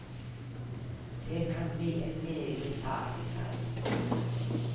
Det kan bli en meget farlig ferd.